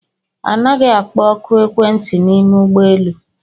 Anaghị akpọ ọkụ ekwentị n'ime ụgbọelu